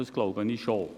Das glaube ich schon.